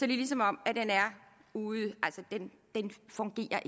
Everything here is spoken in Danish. det ligesom om den er ude den fungerer